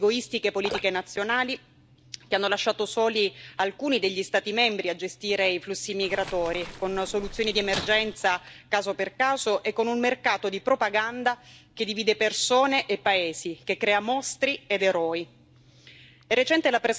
Sono prevalse purtroppo egoistiche politiche nazionali, che hanno lasciato soli alcuni degli Stati membri a gestire i flussi migratori, con una soluzione di emergenza, caso per caso e con un mercato di propaganda che divide persone e paesi e che crea mostri ed eroi.